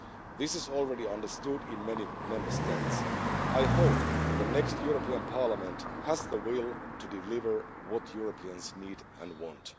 This is already understood in many Member States. I hope the next European Parliament has the will to deliver what Europeans need and want.